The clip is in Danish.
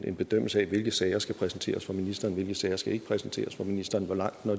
en bedømmelse af hvilke sager der skal præsenteres for ministeren og hvilke sager skal præsenteres for ministeren og hvor langt